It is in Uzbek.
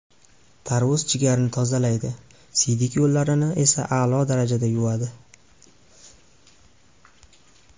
Tarvuz jigarni tozalaydi, siydik yo‘llarini esa a’lo darajada yuvadi.